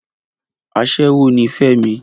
Aṣẹ́wó ni Fẹ́mi